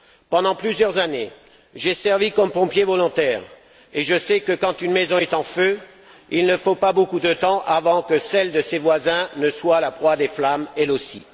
Pendant plusieurs années, j'ai servi comme pompier volontaire et je sais que quand une maison est en feu, il ne faut pas beaucoup de temps avant que celle de ses voisins ne soit la proie des flammes, elle aussi.